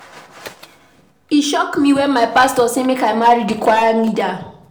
E shock me wen my pastor say make I marry di choir leader.